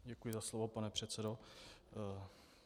Děkuji za slovo pane předsedo.